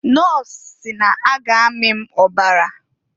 Nọs si n'a ga amị m ọbara.